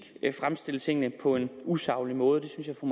fremstille tingene på en usaglig måde og